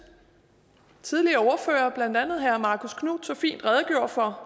tidligere ordførere blandt andet herre marcus knuth fint redegjorde for